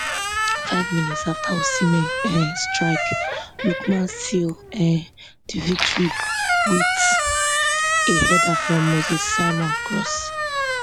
five minutes afta osimhen um strike lookman seal um di victory wit a header from moses simon cross